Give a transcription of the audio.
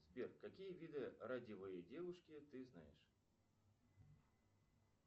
сбер какие виды радиевой девушки ты знаешь